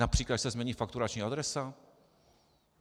Například když se změní fakturační adresa?